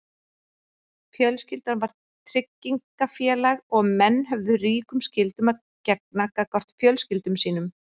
Fjölskyldan var tryggingafélag og menn höfðu ríkum skyldum að gegna gagnvart fjölskyldum sínum.